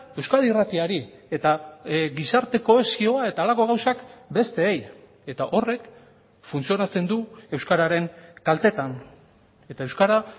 euskadi irratiari eta gizarte kohesioa eta halako gauzak besteei eta horrek funtzionatzen du euskararen kaltetan eta euskara